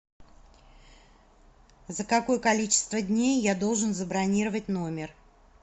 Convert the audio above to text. за какое количество дней я должен забронировать номер